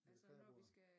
Ja kreabordet